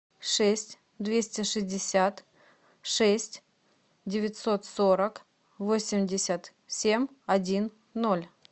шесть двести шестьдесят шесть девятьсот сорок восемьдесят семь один ноль